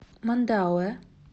мандауэ